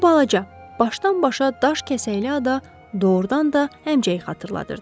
Bu balaca, başdan-başa daş kəsəkli ada doğrudan da həmçəyə xatırladırdı.